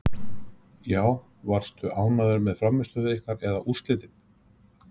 Já Varstu ánægður með frammistöðu ykkar eða úrslitin?